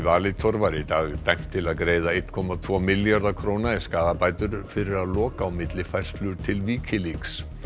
Valitor var í dag dæmt til að greiða einn komma tvo milljarða króna í skaðabætur fyrir að loka á millifærslur til Wikileaks